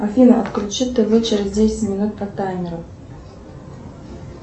афина отключи тв через десять минут по таймеру